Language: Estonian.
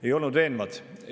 Ei olnud veenvad!